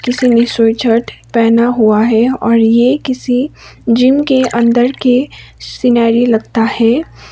इसीने पहना हुआ है और ये किसी जिम के अंदर के सिनेरी लगता है।